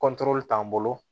t'an bolo